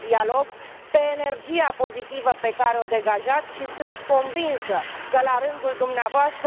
de dialog, pe energia pozitivă pe care o degajați și sunt convinsă că, la rândul dvs.,